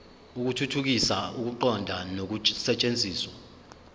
ukuthuthukisa ukuqonda nokusetshenziswa